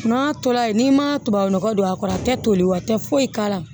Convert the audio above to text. N'a tola yen n'i ma tubabunɔgɔ don a kɔrɔ a tɛ toli wa tɛ foyi k'a la